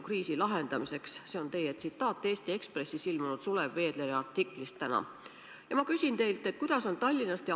Ka regionaalselt peaks juhtima Terviseamet, kui ohutase tõuseb ja tuleb järgmised käigud teha.